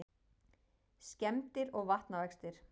Skemmdir og vatnavextir